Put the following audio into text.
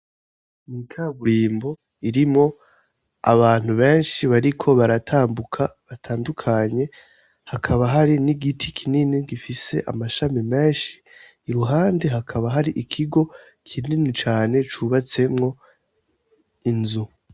Ikaburimbo irimwo abantu benshi bariko baratambuka batandukanye hakaba hari n'igiti kinini gifise amashami menshi iruhande hakaba hari ikigo kinini cane cubatsemwo inzu.